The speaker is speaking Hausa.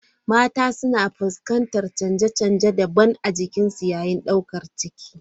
Mata suna fuskantar canje-canje daban-daban a jikinsu yayin daukar ciki.